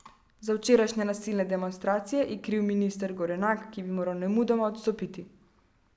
Za včerajšnje nasilne demonstracije je kriv minister Gorenak, ki bi moral nemudoma odstopiti.